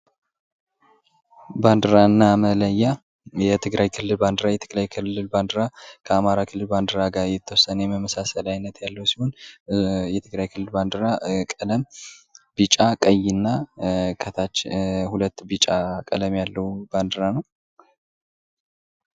ባንድራና መለያ የትግራይ ክልል ባንዲራ፦ የትግራይ ክልል ባንዴራ ከአማራ ክልል ባንዲራ ጋር የተወሰነ የመመሳሰል አይነት ያለው ሲሆን የትግራይ ክልል ባንዲራ ቀይና ከታች እና ከላይ ሁለት ቢጫ ቀለም ያለው ነው።